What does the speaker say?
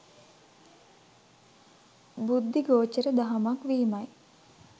බුද්ධිගෝචර දහමක් වීමයි.